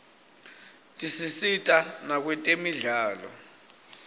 tisisita nakwetemidlalo